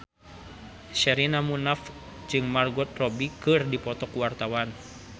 Sherina Munaf jeung Margot Robbie keur dipoto ku wartawan